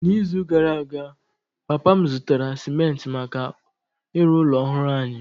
N’izu gara aga, papa m zụtara simenti maka ịrụ ụlọ ọhụrụ anyị.